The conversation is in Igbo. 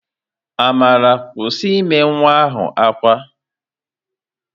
Amara, kwụsị ime nwa ahụ ákwá!